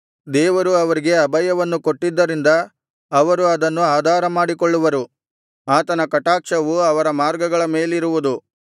ದೇವರು ಅವರಿಗೆ ಅಭಯವನ್ನು ಕೊಟ್ಟಿದ್ದರಿಂದ ಅವರು ಅದನ್ನು ಆಧಾರಮಾಡಿಕೊಳ್ಳುವರು ಆತನ ಕಟಾಕ್ಷವು ಅವರ ಮಾರ್ಗಗಳ ಮೇಲಿರುವುದು